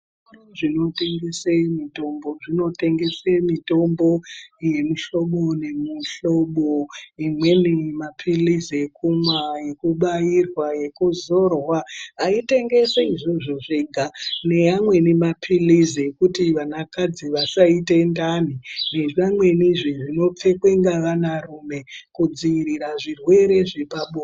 Muzvitoro zvinotengese mitombo zvinotengese mitombo yemihlobo nemihlobo imweni mapilizi ekumwa, ekubairwa ekuzorwa aitengesi izvozvo zvega, neamweni mapilizi ekuti anakadzi vasaite ndani nezvimweni zve zvinopfekwe nevanarume kudziirie zvirwere zvepabonde.